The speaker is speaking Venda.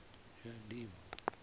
shayandima